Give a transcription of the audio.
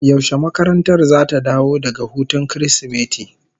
Yaushe makarantar zata dawo daga hutun Kirsimeti?